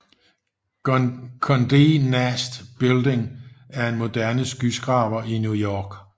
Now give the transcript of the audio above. Condé Nast Building er en moderne skyskraber i New York